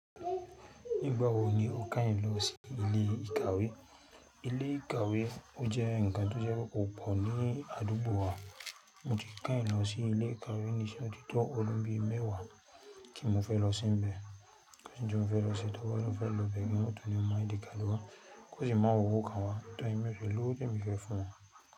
Nígbà wo ni o keyin lọ sí ilé ìkàwé? Ilé ìkàwé ó jẹ́ ńnkan tó jẹ́ pé ko pọ̀ ní àdúgbò wa. Mo ti keyiń lọ sí ilé ìkàwé nísinyii o ti to un mẹ́wàá kí n mo fẹ́ lọ síbẹ̀. Kò sí ohun tí mo fẹ́ lọ ṣe torí mo fẹ́ lọ bẹ̀rẹ̀ ohun tó ní ọ̀nà èdè ìkàwé. Kò sí mán on hù kàn wa, torí mo fẹ́ lọ, kí ó sì fún ọ.